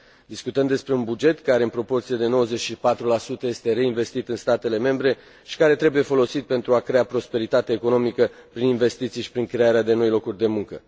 Discutăm despre un buget care în proporție de 94 este reinvestit în statele membre și care trebuie folosit pentru a crea prosperitate economică prin investiții și prin crearea de noi locuri de muncă.